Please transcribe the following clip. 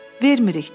Vermirik,